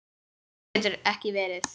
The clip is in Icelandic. Annað getur ekki verið.